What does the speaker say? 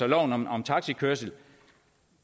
loven om taxikørsel